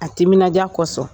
A timinandiya kosɔn